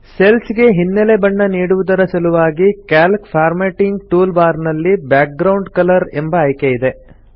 cells ಗೆ ಹಿನ್ನೆಲೆ ಬಣ್ಣ ನೀಡುವುದರ ಸಲುವಾಗಿ ಕ್ಯಾಲ್ಕ್ ಫಾರ್ಮ್ಯಾಟಿಂಗ್ ಟೂಲ್ ಬಾರ್ ನಲ್ಲಿ ಬ್ಯಾಕ್ಗ್ರೌಂಡ್ ಕಲರ್ ಎಂಬ ಆಯ್ಕೆ ಇದೆ